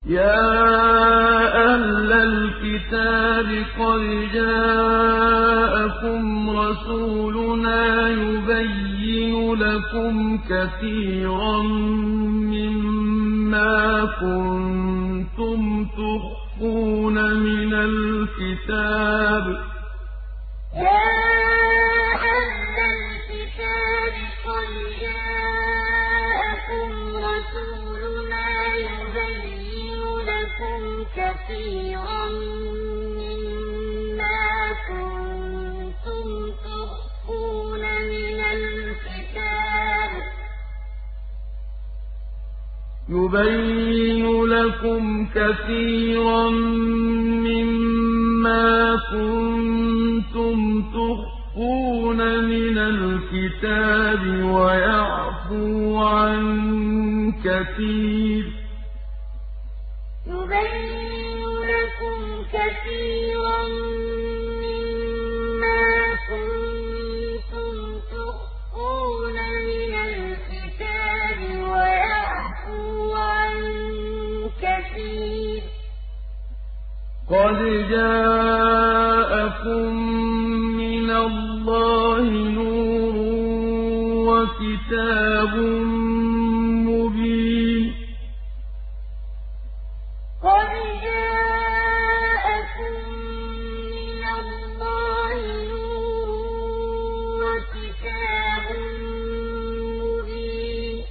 يَا أَهْلَ الْكِتَابِ قَدْ جَاءَكُمْ رَسُولُنَا يُبَيِّنُ لَكُمْ كَثِيرًا مِّمَّا كُنتُمْ تُخْفُونَ مِنَ الْكِتَابِ وَيَعْفُو عَن كَثِيرٍ ۚ قَدْ جَاءَكُم مِّنَ اللَّهِ نُورٌ وَكِتَابٌ مُّبِينٌ يَا أَهْلَ الْكِتَابِ قَدْ جَاءَكُمْ رَسُولُنَا يُبَيِّنُ لَكُمْ كَثِيرًا مِّمَّا كُنتُمْ تُخْفُونَ مِنَ الْكِتَابِ وَيَعْفُو عَن كَثِيرٍ ۚ قَدْ جَاءَكُم مِّنَ اللَّهِ نُورٌ وَكِتَابٌ مُّبِينٌ